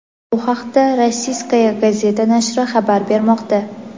Bu haqda "Rossiyskaya gazeta" nashri xabar bermoqda.